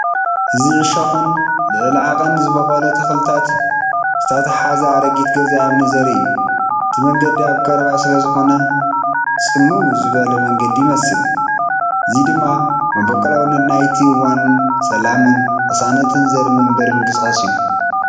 እዚ እሾኽን ልዕሊ ዓቐን ዝበቖለ ተኽልታትን ዝተተሓሓዘ ኣረጊት ገዛ እምኒ ዘርኢ እዩ። እቲ መንገዲ ኣብ ቀረባ ስለዝኾነ ጽምው ዝበለ መንገዲ ይመስል። እዚ ድማ መበቆላውነት ናይቲ እዋንን ሰላምን ቅሳነትን ዘርኢ መንበሪ ምንቅስቓስ እዩ።